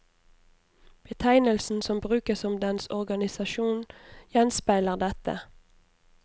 Betegnelsen som brukes om dens organisasjon gjenspeiler dette.